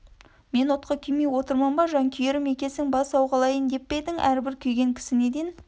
мен отқа күймей отырмын ба жанкүйерім екесің бас сауғалайын деп пе едің әрбір күйген кісі неден